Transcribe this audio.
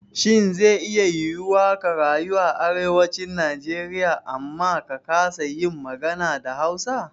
Shin ze iya yiwuwa ka rayu a Arewacin Najeriya amma ka kasa yin magana da Hausa?